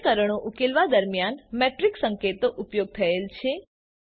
સમીકરણો ઉકેલવા દરમ્યાન મેટ્રિક્સ સંકેતો ઉપયોગ થયેલ છે